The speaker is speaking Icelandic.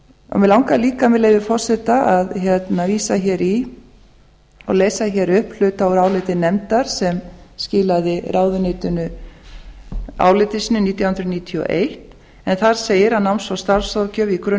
mig langar líka með leyfi forseta að vísa í og lesa upp hluta úr áliti nefndar sem skilaði ráðuneytinu áliti sínu nítján hundruð níutíu og eitt en þar segir náms og starfsráðgjöf í grunn